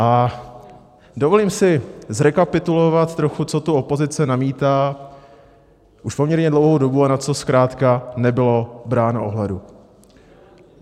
A dovolím si zrekapitulovat trochu, co tu opozice namítá už poměrně dlouhou dobu a na co zkrátka nebylo bráno ohledu.